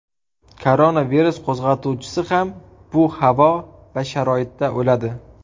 Koronavirus qo‘zg‘atuvchisi ham bu havo va sharoitda o‘ladi.